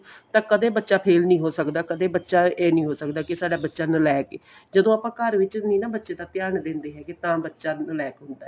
ਤਾਂ ਕਦੇ ਬੱਚਾ ਫ਼ੇਲ ਨੀਂ ਹੋ ਸਕਦਾ ਕਦੀ ਬੱਚਾ ਇਹ ਨੀਂ ਹੋ ਸਕਦਾ ਕਿ ਸਾਡਾ ਬੱਚਾ ਨਲੈਕ ਏ ਜਦੋਂ ਆਪਾਂ ਘਰ ਵਿੱਚ ਨੀਂ ਨਾ ਬੱਚੇ ਦਾ ਧਿਆਨ ਦਿੰਦੇ ਹੈਗੇ ਤਾਂ ਬੱਚਾ ਨਲੈਕ ਹੁੰਦਾ